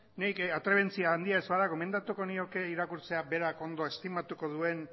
nik atrebentzia handia ez bada gomendatuko nioke irakurtzea berak ondo estimatuko duen